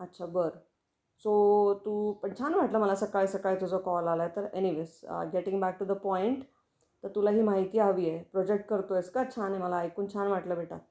अच्छा बरं. सो तू पण छान वाटलं मला सकाळी सकाळी तुझा कॉल आला आहे तर. Anyways getting back to the point तर तुला ही माहिती हवी आहे, प्रोजेक्ट करतो आहेस का, छान मला ऐकून छान वाटल बेटा.